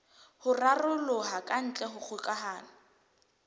ho raroloha kantle ha kgokahano